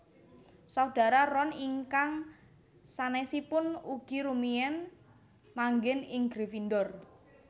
Saudara Ron ingkang sanesipun ugi rumiyen manggen ing Gryffindor